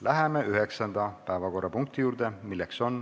Läheme üheksanda päevakorrapunkti juurde.